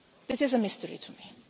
This is a mystery to me.